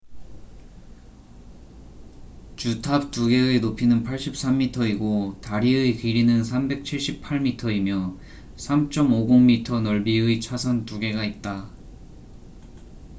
주탑 두 개의 높이는 83m이고 다리의 길이는 378미터이며 3.50m 넓이의 차선 두 개가 있다